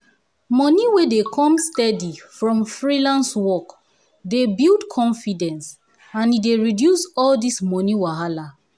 moni wey dey come steady from freelance work dey build confidence and e dey reduce all dis moni wahala